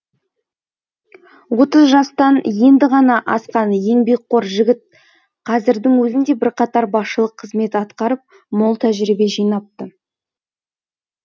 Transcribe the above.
отыз жастан енді ғана асқан еңбекқор жігіт қазірдің өзінде бірқатар басшылық қызмет атқарып мол тәжірибе жинапты